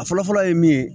A fɔlɔ fɔlɔ ye min ye